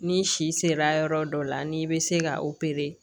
Ni si sera yɔrɔ dɔ la ni i bɛ se ka